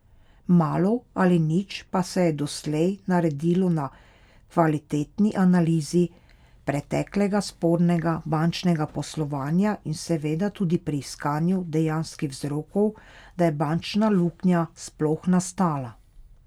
Malo ali nič pa se je doslej naredilo na kvalitetni analizi preteklega spornega bančnega poslovanja in seveda tudi pri iskanju dejanskih vzrokov, da je bančna luknja sploh nastala.